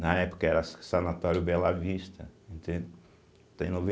Na época era sa Sanatório Bela Vista, entende, tem